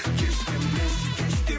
кеш демеші кеш